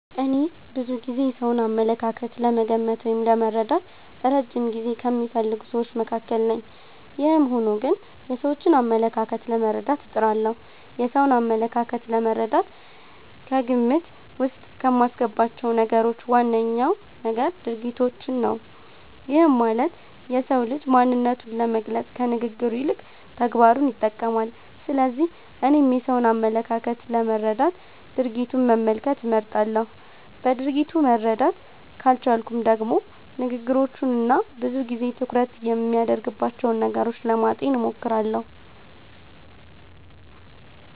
እኔ ብዙ ጊዜ የሰውን አመለካከት ለመገመት ወይም ለመረዳት እረጅም ጊዜ ከሚፈልጉ ስዎች መካከል ነኝ። ይህም ሆኖ ግን የሰዎችን አመለካከት ለመረዳት እጥራለሁ። የሰውን አመለካከት ለመረዳት ከግምት ዉስጥ ከማስገባቸው ነገሮች ዋነኛው ነገር ድርጊቶችን ነው። ይህም ማለት የሰው ልጅ ማንነቱን ለመግለፅ ከንግግሩ ይልቅ ተግባሩን ይጠቀማል። ስለዚህ እኔም የሰውን አመለካከት ለመረዳት ድርጊቱን መመልከት እመርጣለሁ። በድርጊቱ መረዳት ካልቻልኩም ደግሞ ንግግሮቹን እና ብዙ ጊዜ ትኩረት የሚያደርግባቸውን ነገሮች ለማጤን እሞክራለሁ።